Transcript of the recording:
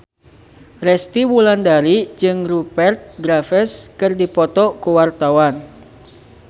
Resty Wulandari jeung Rupert Graves keur dipoto ku wartawan